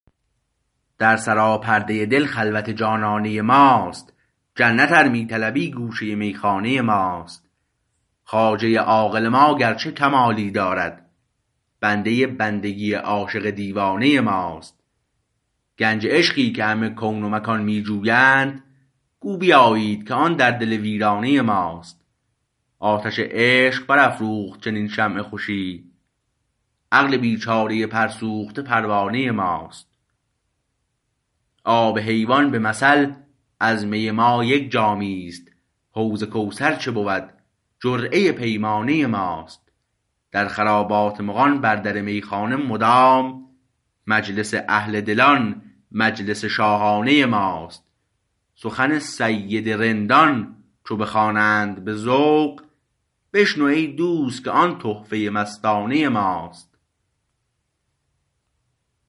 در سراپرده دل خلوت جانانه ماست جنت ار می طلبی گوشه میخانه ماست خواجه عاقل ما گرچه کمالی دارد بنده بندگی عاشق دیوانه ماست گنج عشقی که همه کون و مکان می جویند گو بیایید که آن در دل ویرانه ماست آتش عشق برافروخت چنین شمع خوشی عقل بیچاره پرسوخته پروانه ماست آب حیوان به مثل از می ما یک جامی است حوض کوثر چه بود جرعه پیمانه ماست در خرابات مغان بر در میخانه مدام مجلس اهل دلان مجلس شاهانه ماست سخن سید رندان چو بخوانند به ذوق بشنو ای دوست که آن تحفه مستانه ماست